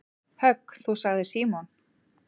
Högg þú sagði Símon.